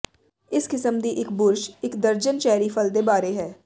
ਇਸ ਕਿਸਮ ਦੀ ਇੱਕ ਬੁਰਸ਼ ਇੱਕ ਦਰਜਨ ਚੈਰੀ ਫਲ ਦੇ ਬਾਰੇ ਹੈ